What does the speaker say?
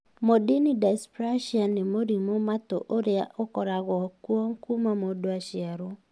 Mondini dysplasia nĩ mũrimũ matũ ũrĩa ũkoragwo kuo kuuma mũndũ aciarwo